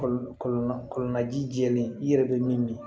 Kɔlɔ kɔlɔlɔji jɛlen i yɛrɛ bɛ min min